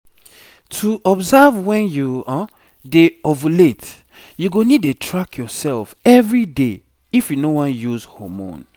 to observe when you dey ovulate you go need dey track yourself everyday if you no wan uise hormone